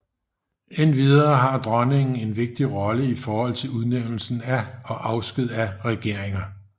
Endvidere har dronningen en vigtig rolle i forhold til udnævnelse af og afsked af regeringer